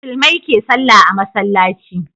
Musulmai ke sallah a masallaci